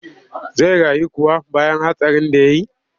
Zai rayu kuwa bayan hatsarin da ya yi?